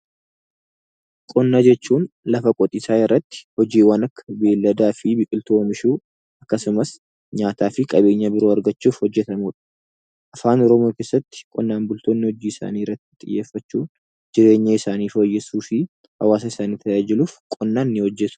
Qonna jechuun lafa qotiisaa irratti hojiiwwan akka beeyladaa fi biqiltuu oomishuu akkasumas nyaataa fi qabeenya biroo argachuuf hojjetamuu dha. Afaan Oromoo keessatti qonnaan bultoonni hojii isaanii irratti xiyyeeffachuun jireenya isaanii fooyyessuu fi hawaasa isaanii tajaajiluuf qonnaan ni hojjetu.